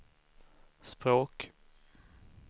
språk